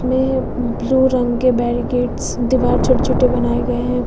Blue रंग के barricades दीवार छोटे छोटे बनाए गए हैं।